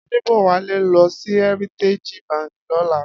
Adebowale n lò si Hèritéji bànkí lòlá